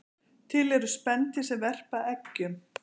Til eru spendýr sem verpa eggjum